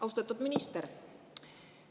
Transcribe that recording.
Austatud minister!